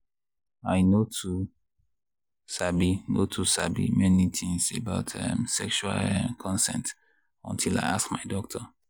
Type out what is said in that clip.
i no too sabi no too sabi many things about um sexual um consent until i ask my doctor.